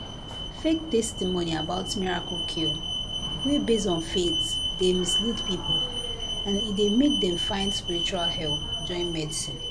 fake testimony about miracle cure wey base on faith dey mislead people and e dey make dem find spiritual help join medicine."